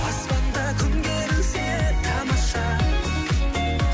аспанда күн керілсе тамаша